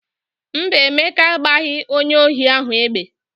Mba, Emeka agbaghị onye ohi ahụ egbe.